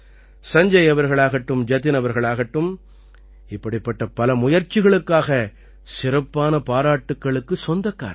சஞ்ஜய் அவர்களாகட்டும் ஜதின் அவர்களாகட்டும் இப்படிப்பட்ட பல முயற்சிகளுக்காக சிறப்பான பாராட்டுக்களுக்குச் சொந்தக்காரர்கள்